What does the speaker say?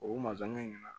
O mansɔn ɲɛna